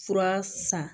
Fura san